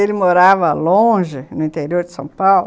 Ele morava longe, no interior de São Paulo.